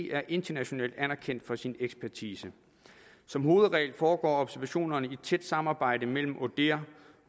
er internationalt anerkendt for sin ekspertise som hovedregel foregår observationerne i et tæt samarbejde mellem odihr